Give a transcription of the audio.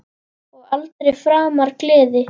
Og aldrei framar gleði.